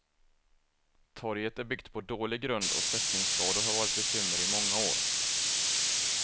Torget är byggt på dålig grund och sättningsskador har varit ett bekymmer i många år.